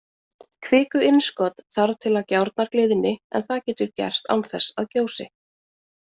Kvikuinnskot þarf til að gjárnar gliðni, en það getur gerst án þess að gjósi.